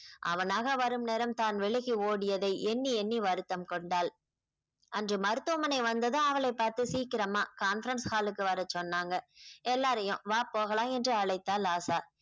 அவனாக வரும் நேரம் தான் விலகி ஓடியதை எண்ணி எண்ணி வருத்தம் கொண்டாள் அன்று மருத்துவமனை வந்ததும் அவளைப் பார்த்து சீக்கிரமா conference hall க்கு வர சொன்னாங்க எல்லாரையும் வா போகலாம் என்று அழைத்தால் ஆஷா